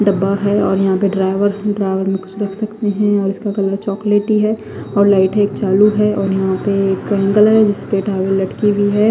डब्बा है और यहा पे ड्रॉवर है ड्रॉवर में कुछ रख सकते है इसका कलर चोकलेटी है और लाइटे चालू है और यहा पे एक कलर है जिसपे लटकी हुई है।